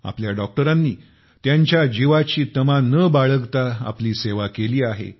आपल्या डॉक्टरांनी आपल्या जीवाची तमा न बाळगता आपली सेवा केली आहे